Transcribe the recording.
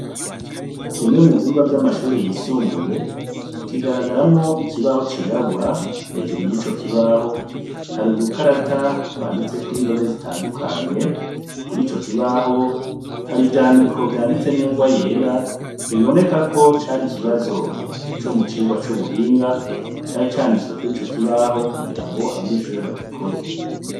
Kimwe mu vyumba vy'amashure yisumbuye kigaragaramwo ikibaho cirabura hejuru y'ico kibaho hari udukarata twanditseko indome zitandukanye kuri co kibaho hari ivyandiko vyanditse n'ingwa yera bibonekako cari ikibazo co mu cirwa c'ubuhinga cari canditswe kuri ico kibaho kugira ngo abanyeshuri bagikore.